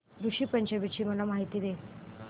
ऋषी पंचमी ची मला माहिती दे